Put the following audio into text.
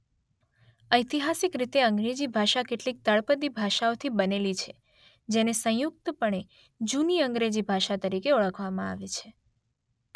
ઐતિહાસિક રીતે અંગ્રેજી ભાષા કેટલીક તળપદી ભાષાઓથી બનેલી છે જેને સંયુક્તપણે જૂની અંગ્રેજી ભાષા તરીકે ઓળખવામાં આવે છે.